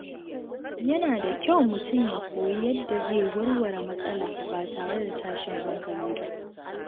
Yana da kyau mutum ya koyi yadda zai warware matsala ba tare da tashin hankali ba.